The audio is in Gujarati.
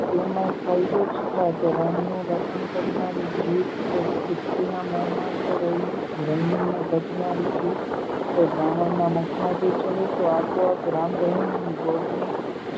તેમાંય ફાયદો જ થાત. રામનું રટણ કરનારી જીભ કોઈ ખ્રિસ્તીના મોંમાં તો રહીમને ભજનારની જીભ કોઈ બ્રાહ્મણના મુખમાં જઈ ચડે તો આપોઆપ રામ, રહીમ અને ગૉડની એકતા